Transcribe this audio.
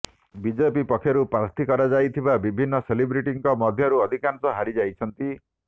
BJP ପକ୍ଷରୁ ପ୍ରାର୍ଥୀ କରାଯାଇଥିବା ବିଭିନ୍ନ ସେଲିବ୍ରିଟିଙ୍କ ମଧ୍ୟରୁ ଅଧିକାଂଶ ହାରି ଯାଇଛନ୍ତି